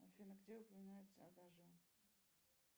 афина где упоминается адажио